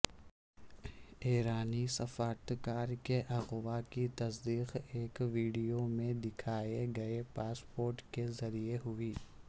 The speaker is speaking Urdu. ایرانی سفارتکار کے اغوا کی تصدیق ایک ویڈیو میں دکھائے گئے پاسپورٹ کے ذریعے ہوئی